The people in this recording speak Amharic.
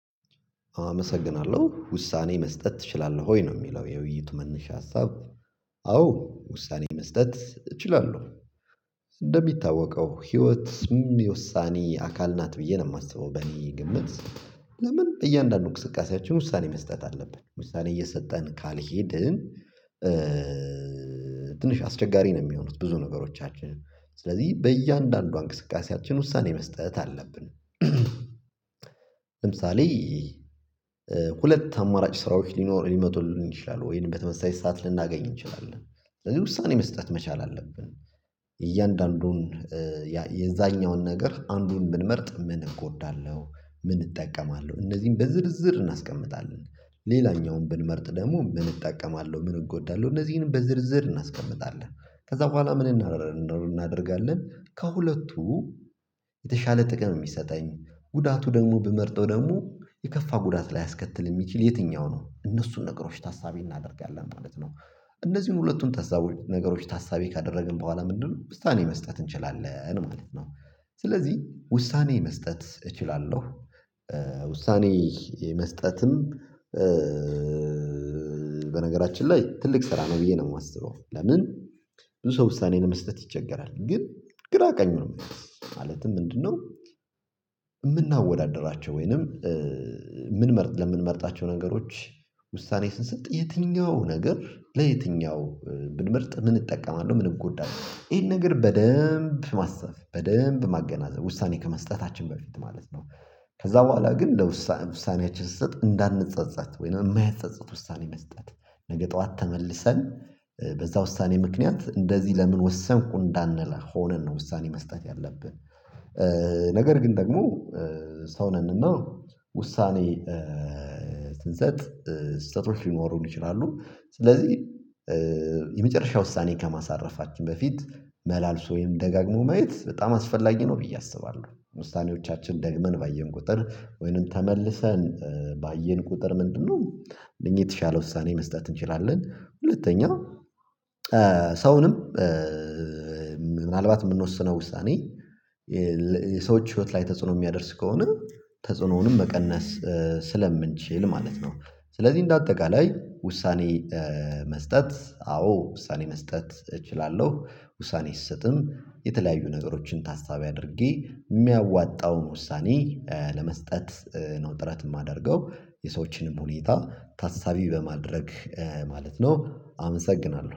አመሰግናለሁ ውሳኔ መስጠት ትችላለሁ ወይ ነው የሚለው የውይይቱ መነሻ ሀሳብ። አዎ ውሳኔ መስጠት እችላለሁ። እንደሚታወቀው ህይወት ውሳኔ አካል ናት ብዬ ነው የማስበው። በእኔ ግምት ለምን እያንዳንዱ እንቅስቃሴያቸውን ውሳኔ መስጠት አለብን ውሳኔ እየሰጠን ካልሄድን። ትንሽ አስቸጋሪ ነው የሚሆኑት ብዙ ነገሮቻችን ስለዚህ በእያንዳንዷ እንቅስቃሴያችን ውሳኔ መስጠት አለብን። ለምሳሌ ሁለት አማራጭ ስራዎች ሊኖር ሊመጡልን ይችላሉ ወይንም በተመሳሳይ ሰዓት ልናገኝ እንችላለን። ስለዚህ ውሳኔ መስጠት መቻል አለብን። እያንዳንዱን የዛኛውን ነገር አንዱን ምንመርጥ ምን እጎዳለሁ? ምን እጠቀማለሁ እነዚህን በዝርዝር እናስቀምጣለን። ሌላኛውን ብንመርጥ ደግሞ ምን እጠቀማለሁ ምን እጎዳለሁ እነዚህን በዝርዝር እናስቀምጣለን። ከዛ በኋላ ምን እናደርጋለን ከሁለቱ የተሻለ ጥቅም የሚሰጠኝ ጉዳቱ ደግሞ ብመርጠው ደግሞ የከፋ ጉዳት ላይ አስከትል የሚችል የትኛው ነው እነሱን ነገሮች ታሳቢ እናደርጋለን ማለት ነው። እነዚህን ሁለቱን ታሳቢ ነገሮች ታሳቢ ካደረግን በኋላ ምንድነው ውሳኔ መስጠት እንችላለን ማለት ነው። ስለዚህ ውሳኔ መስጠት እችላለሁ። ውሳኔ መስጠትም። በነገራችን ላይ ትልቅ ስራ ነው ብዬ ነው የማስበው። ለምን ብዙ ሰው ውሳኔ ነው መስጠት ይቸገራል። ግን ግራ ቀኙ ነው። ማለትም እንድንኖር የምናወዳድራቸው ወይንም ምን ለምንመርጣቸው ነገሮች ውሳኔ ስንሰጥ የትኛው ነገር ለየትኛው ብንመርጥ ምን እጠቀማለሁ ምን እጎዳለሁ ይሄን ነገር በደንብ ማስተር በደንብ ማገናዘብ ውሳኔ ከመስጠታችን በፊት ማለት ነው። ከዛ በኋላ ግን ለውሳኔ ውሳኔያችን ስትሰጥ እንዳንጸጸት ወይንም የማያጸጽት ውሳኔ መስጠት ነገ ጠዋት ተመልሰን በዛ ውሳኔ ምክንያት እንደዚህ ለምን ወሰንኩ እንዳንለ ሆነን ነው ውሳኔ መስጠት ያለብን። ነገር ግን ደግሞ ሰው ነንና ውሳኔ ስህተቶች ሊኖሩን ይችላሉ። ስለዚህ የመጨረሻ ውሳኔ ከማሳረፋችን በፊት መላልሶ ወይም ደጋግሞ ማየት በጣም አስፈላጊ ነው። ብዬ አስባለሁ። ውሳኔዎቻችን ደግመን ባየን ቁጥር ወይንም ተመልሰን ባየን ቁጥር ምንድነው እነዚህ የተሻለ ውሳኔ መስጠት እንችላለን። ሁለተኛ ሰውንም ምናልባት የምንወስነው ውሳኔ የሰዎች ህይወት ላይ ተጽዕኖ የሚያደርስ ከሆነ። ተጽዕኖውንም መቀነስ ስለምንችል ማለት ነው። ስለዚህ እንደ አጠቃላይ ውሳኔ መስጠት አዎ ውሳኔ መስጠት እችላለሁ። ውሳኔ ስሰጥም የተለያዩ ነገሮችን ታሳቢ አድርጌ የሚያዋጣውን ውሳኔ ለመስጠት ነው ጥረት የማደርገው የሰዎችንም ሁኔታ ታሳቢ በማድረግ ማለት ነው። አመሰግናለሁ